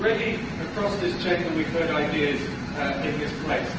Already across this Chamber we've heard ideas in this place.